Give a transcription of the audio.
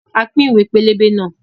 A pín ìwé pélébé náà